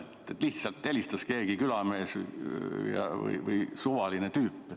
Nagu oleks lihtsalt helistanud keegi külamees või mingi suvaline tüüp.